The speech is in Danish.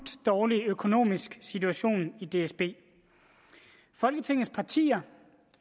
dårlig økonomisk situation i dsb folketingets partier